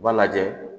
U b'a lajɛ